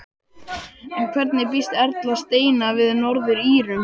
En hvernig býst Erla Steina við Norður-Írum?